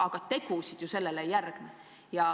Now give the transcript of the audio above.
Aga tegusid ju sellele ei järgne.